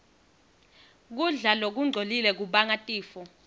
kudla lokungcolile kubangatifo